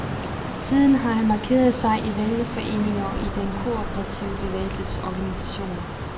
Siden har han markeret sig i vælgerforeninger og i den kooperative bevægelses organisationer.